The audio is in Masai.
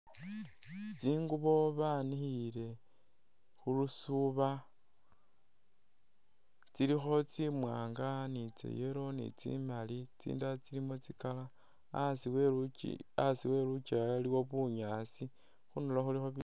Tsingubo banikhile khulusuuba tsilikho tsimwaanga ni tsa yellow ni tsi maali tsindala tsilimo tsi color a'asi we.. a'asi welukewa iliwo bunyaasi khundulo khulikho